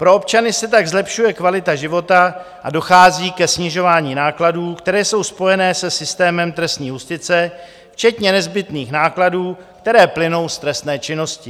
Pro občany se tak zlepšuje kvalita života a dochází ke snižování nákladů, které jsou spojené se systémem trestní justice včetně nezbytných nákladů, které plynou z trestné činnosti.